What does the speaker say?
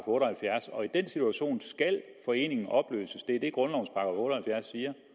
otte og halvfjerds og i den situation skal foreningen opløses det er det grundlovens og halvfjerds siger